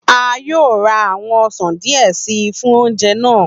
A yoo ra awọn ọsan diẹ sii fun oje naa.